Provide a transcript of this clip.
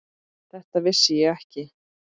Þetta vissi ég ekki.